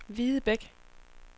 Videbæk